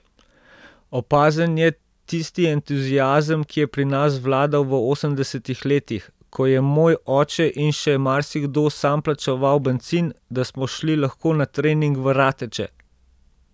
Opazen je tisti entuziazem, ki je pri nas vladal v osemdesetih letih, ko je moj oče in še marsikdo sam plačeval bencin, da smo šli lahko na trening v Rateče.